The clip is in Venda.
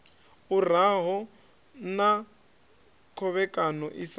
uraho na khovhekano i sa